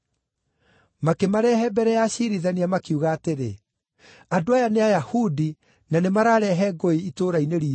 Makĩmarehe mbere ya aciirithania, makiuga atĩrĩ, “Andũ aya nĩ Ayahudi, na nĩmararehe ngũĩ itũũra-inĩ riitũ